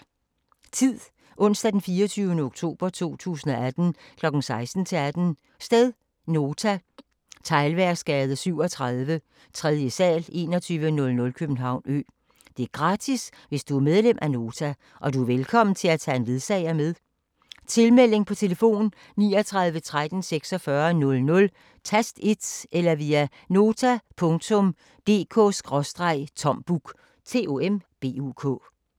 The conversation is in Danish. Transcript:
Tid: Onsdag 24. oktober 2018 kl. 16-18 Sted: Nota. Teglværksgade 37, 3. sal, 2100 København Ø Gratis hvis du er medlem af Nota. Du er velkommen til at tage en ledsager med Tilmelding: På telefon 39 13 46 00, tast 1 eller via nota.dk/tombuk